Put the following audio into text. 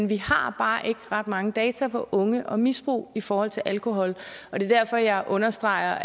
vi har bare ikke ret mange data om unge og misbrug i forhold til alkohol og det er derfor jeg understreger